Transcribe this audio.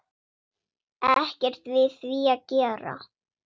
Ekkert við því að gera.